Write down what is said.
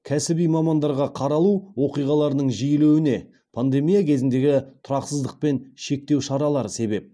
кәсіби мамандарға қаралу оқиғаларының жиілеуіне пандемия кезіндегі тұрақсыздық пен шектеу шаралары себеп